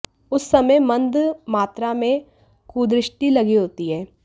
उस समय मंद मात्रा में कुदृष्टि लगी होती है